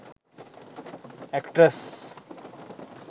actress